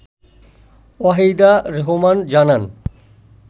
ওয়াহিদা রেহমান জানান